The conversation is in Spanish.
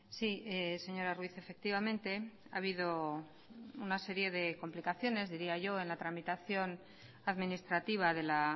sí señora ruiz efectivamente ha habido una serie de complicaciones diría yo en la tramitación administrativa de la